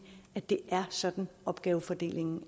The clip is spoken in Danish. at det er sådan opgavefordelingen